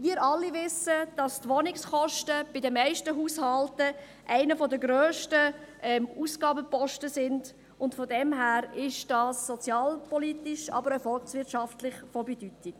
Wir alle wissen, dass die Wohnkosten den grössten Ausgabenposten in jedem Haushaltsbudget darstellen, und deshalb ist dies von grosser volkswirtschaftlicher und sozialer Bedeutung.